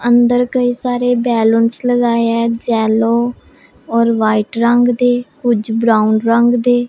अंदर कई सारे बैलूंस लगाए हैं जेलों येलो और वाइट रंग दे कुछ ब्राउन रंग दे--